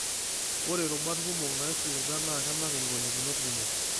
Ore rubat kumok naaisiliga na kenap ingolikinot kumok.